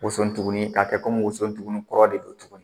Woso tuguni k'a kɛ komi woso tugun kɔrɔ de don tuguni